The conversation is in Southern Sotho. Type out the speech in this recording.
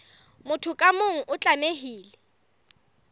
motho ka mong o tlamehile